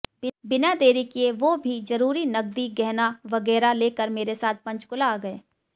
बिना देरी किए वो भी ज़रूरी नकदी गहना वगैरा लेकर मेरे साथ पंचकूला आ गए